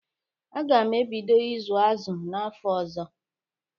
Aga m ebido ịzụ azụ n'afọ ọzọ.